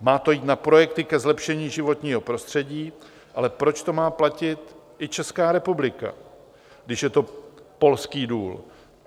Má to jít na projekty ke zlepšení životního prostředí, ale proč to má platit i Česká republika, když je to polský důl?